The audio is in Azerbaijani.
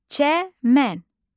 Çəmən.